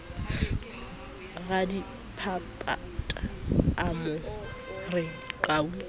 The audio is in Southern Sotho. radiphaphatha a mo re qhau